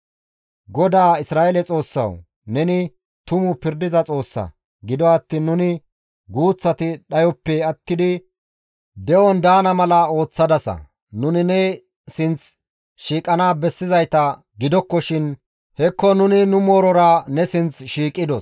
GODAA Isra7eele Xoossawu! Neni tumu pirdiza Xoossa; gido attiin nuni guuththati dhayoppe attidi de7on daana mala ooththadasa; nuni ne sinththi shiiqana bessizayta gidokkoshin hekko nuni nu moorora ne sinththi shiiqidos.»